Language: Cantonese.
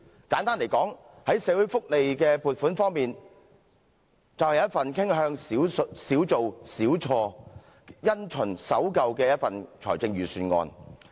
簡單來說，在社會福利的撥款方面，它便是一份傾向"少做少錯"，因循守舊的一份預算案。